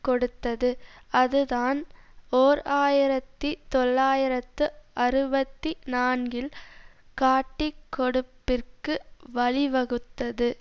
கொடுத்தது அதுதான் ஓர் ஆயிரத்தி தொள்ளாயிரத்து அறுபத்தி நான்கில் காட்டிக்கொடுப்பிற்கு வழிவகுத்தது